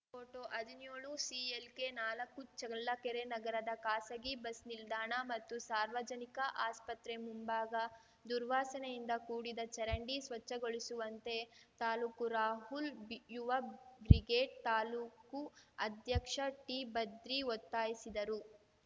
photo ಹದಿನ್ಯೋಳುಸಿಎಲ್‌ಕೆನಾಲಕ್ಕು ಚಳ್ಳಕೆರೆ ನಗರದ ಖಾಸಗಿ ಬಸ್‌ ನಿಲ್ದಾಣ ಮತ್ತು ಸಾರ್ವಜನಿಕ ಆಸ್ಪತ್ರೆ ಮುಂಭಾಗ ದುರ್ವಾಸನೆಯಿಂದ ಕೂಡಿದ ಚರಂಡಿ ಸ್ವಚ್ಛಗೊಳಿಸುವಂತೆ ತಾಲೂಕು ರಾಹುಲ್‌ ಯುವ ಬ್ರಿಗೇಡ್‌ ತಾಲೂಕು ಅಧ್ಯಕ್ಷ ಟಿಭದ್ರಿ ಒತ್ತಾಯಿಸಿದರು